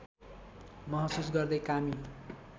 महसुस गर्दै कामी